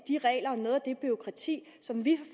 de regler og noget af det bureaukrati som vi